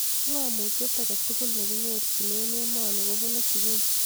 ngomutye aketukul nekinyorchine emoni kobunuu sukul